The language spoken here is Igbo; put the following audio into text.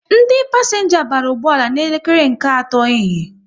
Ndị pasenga bara ụgbọala n'elekere nke atọ ehihie